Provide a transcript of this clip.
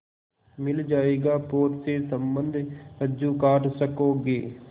मिल जाएगा पोत से संबद्ध रज्जु काट सकोगे